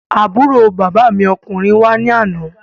Àbúrò bàbá mi ọkùnrin wá ní àná.